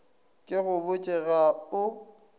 ke go botše ga o